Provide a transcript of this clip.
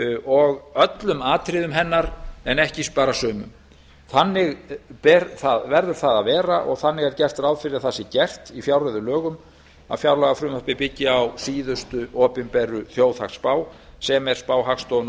og öllum atriðum hennar en ekki bara sumum þannig verður það að vera og þannig er gert ráð fyrir að það sé gert í fjárreiðulögum að fjárlagafrumvarpið byggi á síðustu opinberu þjóðhagsspá sem er spá hagstofunnar